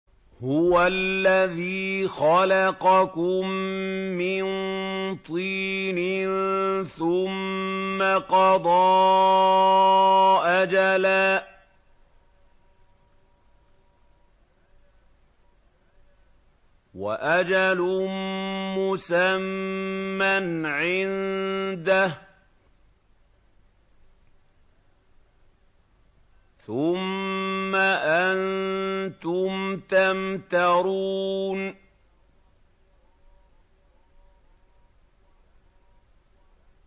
هُوَ الَّذِي خَلَقَكُم مِّن طِينٍ ثُمَّ قَضَىٰ أَجَلًا ۖ وَأَجَلٌ مُّسَمًّى عِندَهُ ۖ ثُمَّ أَنتُمْ تَمْتَرُونَ